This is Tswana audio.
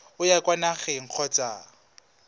o ya kwa nageng kgotsa